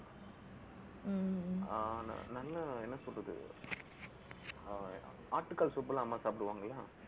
ஆஹ் நல்லா என்ன சொல்றது ஆஹ் ஆட்டுக்கால் soup ல அம்மா சாப்பிடுவாங்களா